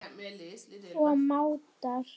og mátar.